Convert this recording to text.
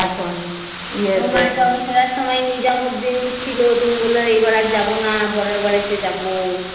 ফেরার সময় নিজাম উদ্দিন ছিল তুমি বললে এবার আর যাবোনা পরের বার এসে যাবো